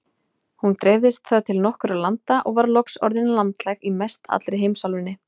Hún dreifðist þar til nokkurra landa og var loks orðin landlæg í mestallri heimsálfunni.